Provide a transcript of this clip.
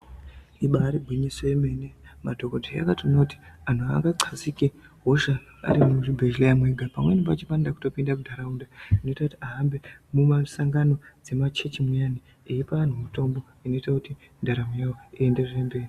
Ibari gwinyiso remene madhokodheya akatoona kuti anhu haanga xazike hosha ari muzvibhedhlera mwega pamwe pacho panotode kuto pinda mundaraunda zvi noita kuti ahambe mumasangano dzemachechi muyani eyipa anhu mutombo zvinoita kuti ndaramo yacho ienderere mberi.